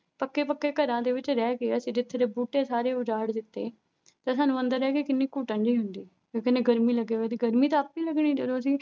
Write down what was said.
ਪੱਕੇ ਪੱਕੇ ਘਰਾਂ ਦੇ ਵਿੱਚ ਰਹਿ ਕੇ ਅਸੀਂ ਜਿੱਥੇ ਦੇ ਬੂਟੇ ਸਾਰੇ ਉਜਾੜ ਦਿੱਤੇ ਤੇ ਸਾਨੂੰ ਅੰਦਰ ਰਹਿ ਕੇ ਕਿੰਨੀ ਘੁਟਣ ਜਿਹੀ ਹੁੰਦੀ ਵੀ ਕਿੰਨੀ ਗਰਮੀ ਲੱਗੇ, ਗਰਮੀ ਤਾਂ ਆਪੇ ਹੀ ਲੱਗਣੀ ਜਦੋਂ ਅਸੀਂ